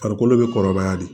Farikolo bɛ kɔrɔbaya de